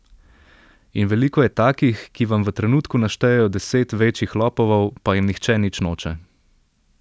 In veliko je takih, ki vam v trenutku naštejejo deset večjih lopovov, pa jim nihče nič noče.